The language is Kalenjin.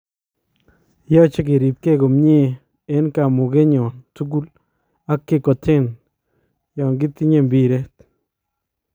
Yache keribkee komyee en kamugeenyon tukul ak kekoteen yankitinyee mbireet